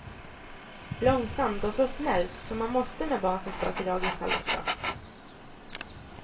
Långsamt och så snällt som man måste med barn som ska till dagis halv åtta.